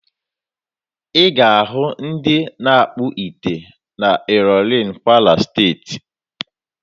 Ị ga-ahụ ndị na-akpụ ite na Ịlọrịn, Kwara Steeti.